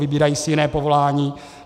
Vybírají si jiné povolání.